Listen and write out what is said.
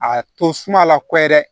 A to suma a la ko ye dɛ